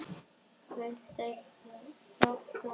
Villtir í þoku